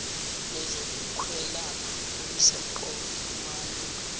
lwezokwelapha olusemqoka kumalunga